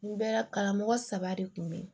N bɛ karamɔgɔ saba de kun bɛ yen